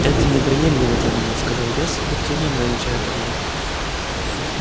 это неприемлемо для меня сказал я с облегчением замечая подвох